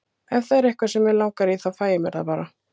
Ef það er eitthvað sem mig langar í þá fæ ég mér það bara.